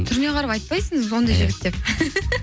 түріне қарап айтпайсың ондай жігіт деп